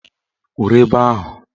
Kwuru ebe ahụ!